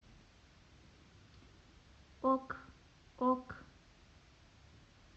ок ок